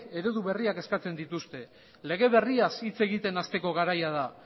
eredu berriak eskatzen dituzte lege berriaz hitz egiten hasteko garaia da